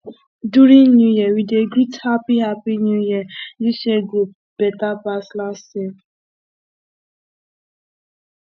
during new year we dey greet happy happy new year this year go better pass last year